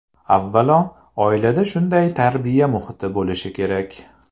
Avvalo, oilada shunday tarbiya muhiti bo‘lishi kerak.